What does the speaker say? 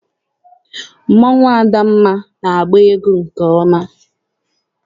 Mmọnwụ adamma na-agba egwu nke ọma.